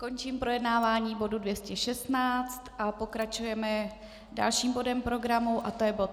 Končím projednávání bodu 216 a pokračujeme dalším bodem programu a to je bod